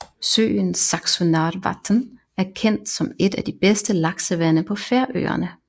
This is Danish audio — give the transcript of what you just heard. Søen Saksunarvatn er kendt som et af de bedste laksevande på Færøerne